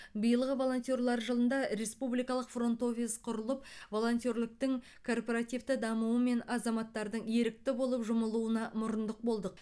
биылғы волонтерлар жылында республикалық фронт офис құрылып волонтерліктің корпоративті дамуы мен азаматтардың ерікті болып жұмылуына мұрындық болды